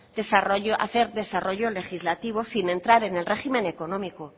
hacer desarrollo legislativo sin entrar en el régimen económico